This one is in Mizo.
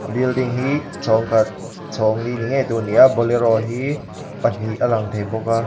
a building hi chhawng khat chhawng li ni ngei tur a ni a bolero hi pahnih a lang thei bawk a.